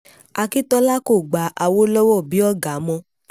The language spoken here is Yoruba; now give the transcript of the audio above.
akíntola kò gba awolowo bíi ọ̀gá mọ́